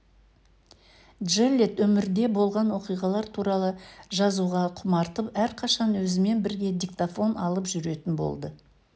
джеллет өмірде болған оқиғалар туралы жазуға құмартып әрқашан өзімен бірге диктофон алып жүретін болды